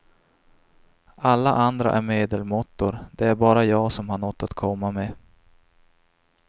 Alla andra är medelmåttor, det är bara jag som har nåt att komma med.